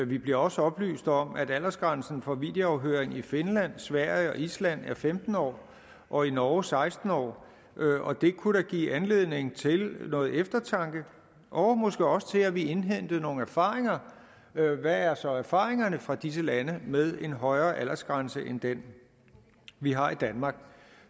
vi bliver også oplyst om at aldersgrænsen for videoafhøring i finland sverige og island er femten år og i norge seksten år og det kunne da give anledning til noget eftertanke og måske også til at vi indhentede nogle erfaringer hvad er så erfaringerne fra disse lande med en højere aldersgrænse end den vi har i danmark